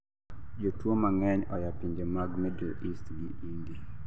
jotuwo mang'eny oyapinje mag middle east gi india